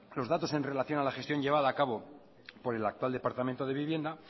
los datos en relación a la gestión llevada a cabo por el actual departamento de vivienda